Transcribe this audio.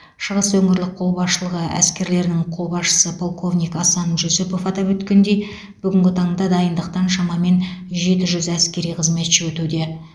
шығыс өңірлік қолбасшылығы әскерлерінің қолбасшысы полковник асан жүсіпов атап өткендей бүгінгі таңда дайындықтан шамамен жеті жүз әскери қызметші өтуде